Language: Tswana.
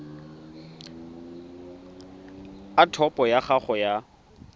a topo ya gago ya